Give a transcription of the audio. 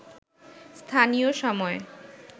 স্থানীয় সময়